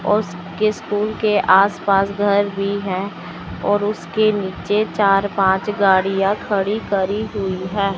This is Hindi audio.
और उसके स्कूल के आस पास घर भी हैं और उसके नीचे चार पांच गाड़ियां खड़ी करी हुई हैं।